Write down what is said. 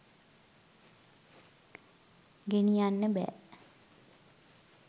ගෙනියන්න බෑ.